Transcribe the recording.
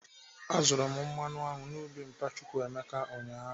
Azụrụ m mmanụ aṅụ na ubi mpa Chukwuebuka ụnyaahụ.